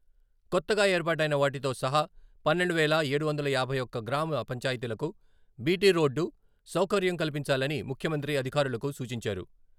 కొత్తగా ఏర్పాటైన వాటితో సహా పన్నెండు వేల ఏడు వందల యాభై ఒక్క గ్రామ పంచాయతీలకు బీటీ రోడ్డు సౌకర్యం కల్పించాలని ముఖ్యమంత్రి అధికారులకు సూచించారు.